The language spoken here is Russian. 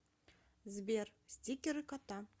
сбер стикеры кота